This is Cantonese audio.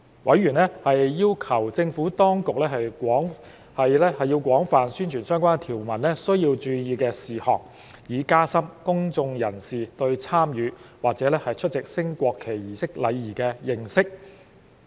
委員要求政府當局廣泛宣傳相關條文需注意的事項，以加深公眾人士對參與或出席升國旗儀式的禮儀的認識。